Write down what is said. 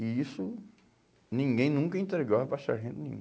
E isso ninguém nunca entregava para sargento nenhum.